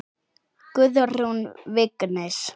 Guðrún Vignis.